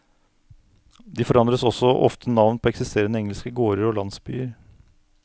De forandret også ofte navn på eksisterende engelske gårder og landsbyer.